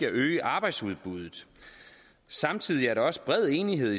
at øge arbejdsudbuddet samtidig er der også bred enighed